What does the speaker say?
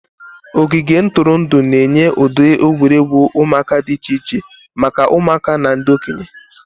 Ogige ntụrụndụ na-enye ụdị egwuregwu ụmụaka dị iche iche maka ụmụaka na ndị okenye.